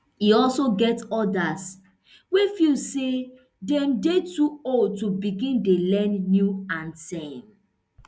e also get odas wey feel say dem dey too old to begin dey learn new anthem